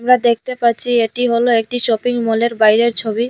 আমরা দেখতে পাচ্ছি এটি হল একটি শপিং মলের বাইরের ছবি।